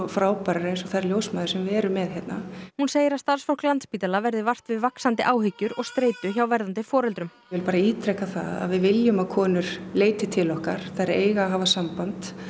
frábærar eins og þær ljósmæður sem við erum með hérna hún segir að starfsfólk Landspítala verði vart við vaxandi áhyggjur og streitu hjá verðandi foreldrum ég vil bara ítreka það að við viljum að konur leiti til okkar þær eiga að hafa samband